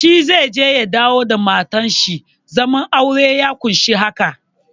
Shi zai je ya dawo da matar shi, zaman aure ya ƙunshi haka.